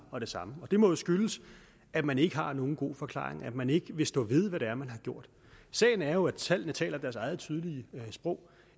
og det samme og det må jo skyldes at man ikke har nogen god forklaring og at man ikke vil stå ved hvad det er man har gjort sagen er jo at tallene taler deres eget tydelige sprog